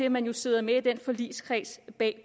at man jo sidder med i forligskredsen bag